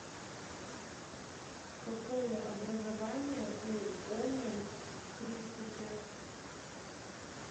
какое образование у онилл кристофер